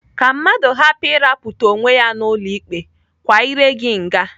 Ka mmadụ hapụ ịrapụta onwe ya n'ụlọ ikpe, kwa iré gị nga.